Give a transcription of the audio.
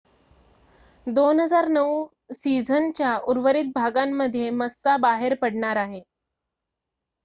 2009 सिझनच्या उर्वरित भागांमध्ये मस्सा बाहेर पडणार आहे